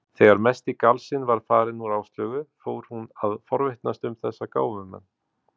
Þegar mesti galsinn var farinn úr Áslaugu fór hún að forvitnast um þessa gáfumenn.